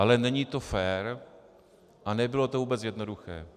Ale není to fér a nebylo to vůbec jednoduché.